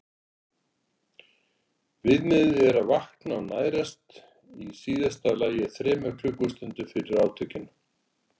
Viðmiðið er að vakna og nærast í síðasta lagi þremur klukkustundum fyrir átökin.